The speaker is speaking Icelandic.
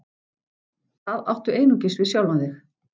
Það áttu einungis við sjálfan þig.